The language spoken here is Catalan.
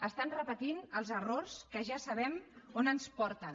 estan repetint els errors que ja sabem on ens porten